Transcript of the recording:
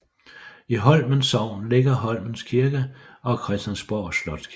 I Holmens Sogn ligger Holmens Kirke og Christiansborg Slotskirke